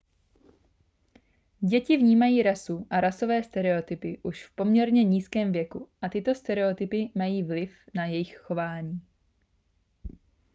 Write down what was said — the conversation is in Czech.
děti vnímají rasu a rasové stereotypy už v poměrně nízkém věku a tyto stereotypy mají vliv na jejich chování